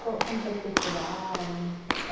Qual, como foi que vocês chegaram?